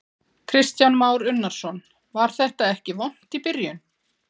Kristján Már Unnarsson: Var þetta ekki vont í byrjun?